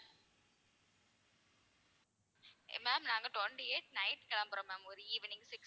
ma'am நாங்க twenty eight night கிளம்புறோம் ma'am ஒரு evening six